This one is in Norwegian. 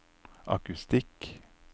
akustikk